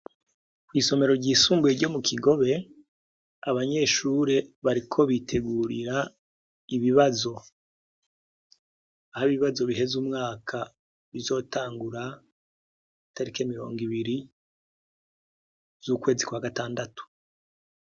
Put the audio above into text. Kw'isomero ryisumbuye ryo mu Kigobe, abanyeshuri bariko bitegurira ibibazo. Aho ibibazo biheza umwaka, bizotangura itariki mirongo ibiri, z'ukwezi kwa gatandatu.